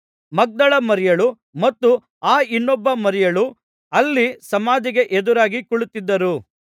ಮಗ್ದಲದ ಮರಿಯಳೂ ಮತ್ತು ಆ ಇನ್ನೊಬ್ಬ ಮರಿಯಳೂ ಅಲ್ಲಿ ಸಮಾಧಿಗೆ ಎದುರಾಗಿ ಕುಳಿತಿದ್ದರು